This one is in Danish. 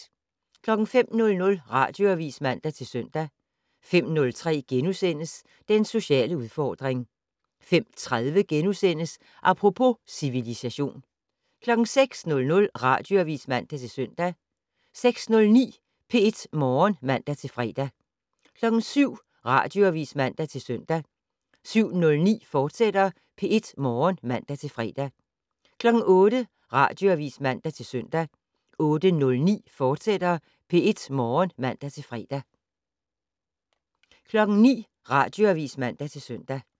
05:00: Radioavis (man-søn) 05:03: Den sociale udfordring * 05:30: Apropos - civilisation * 06:00: Radioavis (man-søn) 06:09: P1 Morgen (man-fre) 07:00: Radioavis (man-søn) 07:09: P1 Morgen, fortsat (man-fre) 08:00: Radioavis (man-søn) 08:09: P1 Morgen, fortsat (man-fre) 09:00: Radioavis (man-søn)